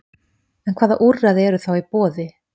En hvaða úrræði eru þá í boði?